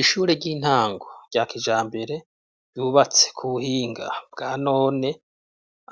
Ishure ry'intango rya kijambere, ryubatse ku buhinga bwa none,